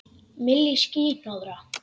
Milli ský- hnoðra.